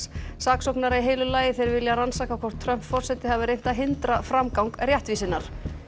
saksóknara í heilu lagi þeir vilja rannsaka hvort Trump forseti hafi reynt að hindra framgang réttvísinnar